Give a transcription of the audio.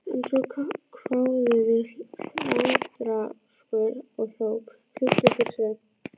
En svo kváðu við hlátrasköll og hróp: Flýttu þér Sveinn.